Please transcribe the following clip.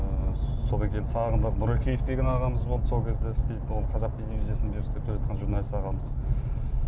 ыыы содан кейін сагындық нұрекеев деген ағамыз болды сол кезде істейтін ол қазақ телевизиясында істеп келатқан журналист ағамыз